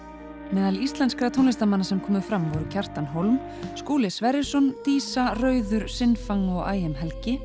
meðal íslenskra tónlistarmanna sem komu fram voru Kjartan Skúli Sverrisson dísa rauður sin fang og